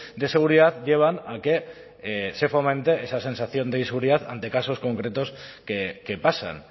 de seguridad llevan a que se fomente esa sensación de inseguridad ante casos concretos que pasan